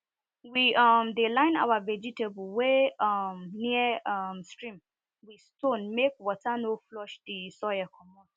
we um dey line our vegetable wey um near um stream with stone make water no flush di soil